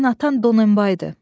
Sənin atan Donenbaydı.